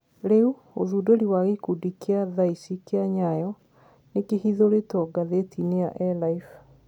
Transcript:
Riu, ũthundũri wa gikundi kia thaici kia nyayo nikihithũritwo gathetiini ya elife